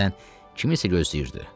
Deyəsən kiminsə gözləyirdi.